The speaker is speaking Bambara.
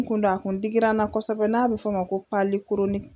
N kun don, a kun digira na kosɛbɛ n'a bɛ fɔ ma ko